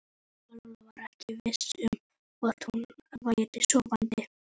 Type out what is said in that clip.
Lóa-Lóa var ekki viss um hvort hún væri sofandi.